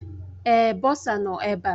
Èé, bọsa nọ ebe a.